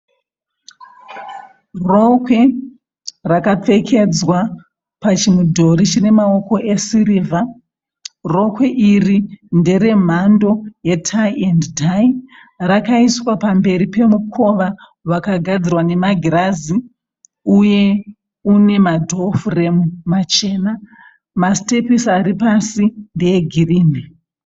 Rokwe rakapfekedzwa pachimudhuri chine maoko esirivha. Rokwe iri ndere mhando yetayi endi tayi rakaiswa pamberi pemukova wakagarwa nemagirazi. Uye une madhofuremu machena. Masitepisi ari pasi ndee girini.